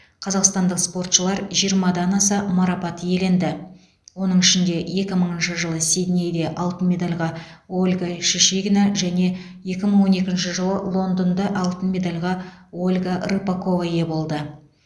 қазақстандық спортшылар жиырмадан аса марапат иеленді оның ішінде екі мыңыншы жылы сиднейде алтын медальға ольга шишигина және екі мың он екінші жылы лондонда алтын медальға ольга рыпакова ие болды